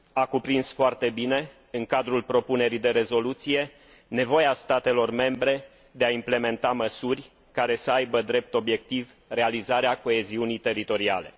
A cuprins foarte bine în cadrul propunerii de rezoluție nevoia statelor membre de a implementa măsuri care să aibă drept obiectiv realizarea coeziunii teritoriale.